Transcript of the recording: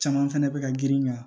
Caman fɛnɛ bɛ ka girin ka ɲɛ